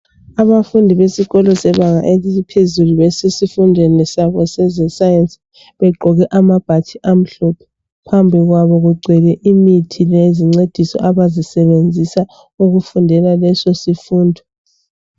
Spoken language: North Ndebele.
Abafundi besikolo sebanga eliphezulu besesifundweni sabo seze sayensi, begqoke amabhatshi amhlophe phambi kwabo kugcwele imithi lezincedisi abazisebenzisa ukufundela leso sifundo.